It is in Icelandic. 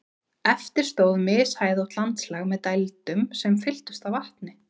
Eftir stóð mishæðótt landslag með dældum sem fylltust af vatni.